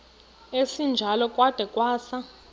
esinjalo kwada kwasa